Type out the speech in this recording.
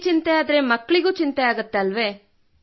ಅಮ್ಮನಿಗೆ ಚಿಂತೆಯಾದರೆ ಮಕ್ಕಳಿಗೂ ಚಿಂತೆಯಾಗುತ್ತದೆ